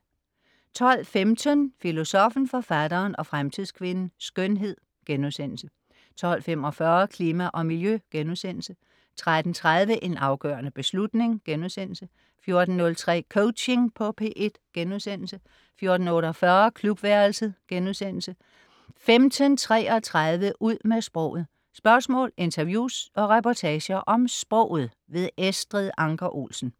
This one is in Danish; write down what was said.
12.15 Filosoffen, Forfatteren og Fremtidskvinden. Skønhed* 12.45 Klima og miljø* 13.30 En afgørende beslutning* 14.03 Coaching på P1* 14.48 Klubværelset* 15.33 Ud med sproget. Spørgsmål, interviews og reportager om sproget. Estrid Anker Olsen